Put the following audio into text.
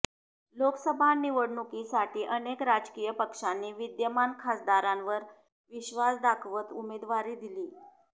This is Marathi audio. लोकसभा निवडणुकीसाठी अनेक राजकीय पक्षांनी विद्यमान खासदारांवर विश्वास दाखवत उमेदवारी दिली